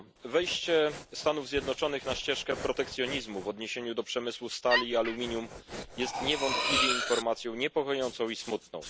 Wejście Stanów Zjednoczonych na ścieżkę protekcjonizmu w odniesieniu do przemysłu stali i aluminium jest niewątpliwie informacją niepokojącą i smutną.